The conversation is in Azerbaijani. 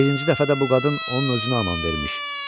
Birinci dəfə də bu qadın onun özünə aman vermiş.